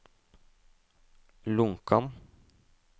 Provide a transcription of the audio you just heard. Lonkan